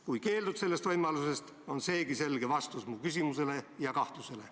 Kui sa keeldud sellest võimalusest, on seegi selge vastus mu küsimusele ja kahtlusele.